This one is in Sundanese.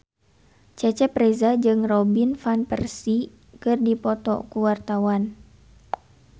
Cecep Reza jeung Robin Van Persie keur dipoto ku wartawan